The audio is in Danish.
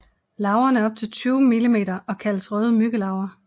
Larverne er op til 20 millimeter og kaldes røde myggelarver